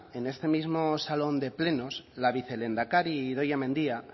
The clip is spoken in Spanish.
en este mismo salón de plenos la vicelehendakari idoia mendia